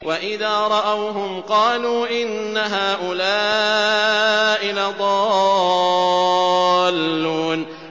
وَإِذَا رَأَوْهُمْ قَالُوا إِنَّ هَٰؤُلَاءِ لَضَالُّونَ